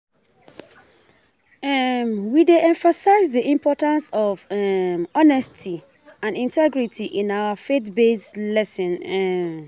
um We dey emphasize the importance of um honesty and integrity in our faith-based lessons. um